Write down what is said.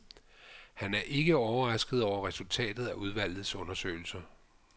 Han er ikke overrasket over resultatet af udvalgets undersøgelser.